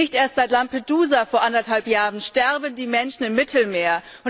Nicht erst seit Lampedusa vor anderthalb Jahren sterben die Menschen im Mittelmeer.